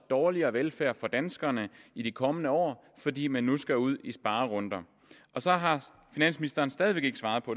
dårligere velfærd for danskerne i de kommende år fordi man nu skal ud i sparerunder så har finansministeren stadig væk ikke svaret på